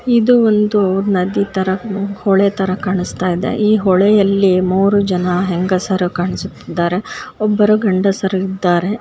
ಇದು ಒಂದು ನದಿತರ ಹೊಳೆತರ ಕಾಣಿಸುತಇದೆ ಈ ಹೊಳೆಯಲ್ಲಿ ಮೂರು ಜನ ಹೆಂಗಸರು ಕಾಣಿಸುತ್ತಿದ್ದಾರೆ ಹೊಬ್ಬರು ಗಂಡಸರು ಇದ್ದರೆ.